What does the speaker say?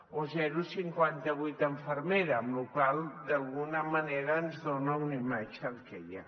o zero coma cinquanta vuit infermera cosa que d’alguna manera ens dona una imatge del que hi ha